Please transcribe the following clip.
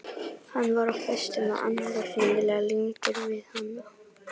Hann var á föstu með annarri, hreinlega límdur við hana.